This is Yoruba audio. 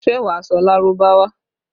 Ṣé wà á sọ Lárúbáwá?